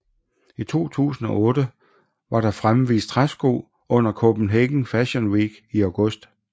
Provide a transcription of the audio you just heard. I 2008 var der fremvist træsko under Copenhagen Fashio Week i august